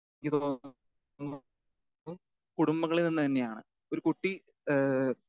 Speaker 2 കുടുംബങ്ങളിൽ നിന്നു തന്നെയാണ്. ഒരു കുട്ടി ഏഹ്